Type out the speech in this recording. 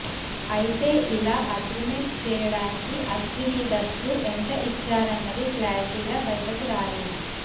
అయితే ఇలా అగ్రిమెంట్ చేయడానికి అశ్వనీదత్ కు ఎంత ఇచ్చారన్నది క్లారిటీగా బయటకు రాలేదు